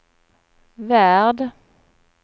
värld